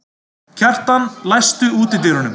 Kjartan, læstu útidyrunum.